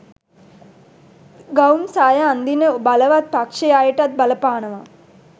ගවුම් සාය අන්දින බවලත් පක්ශයෙ අයටත් බල පානවා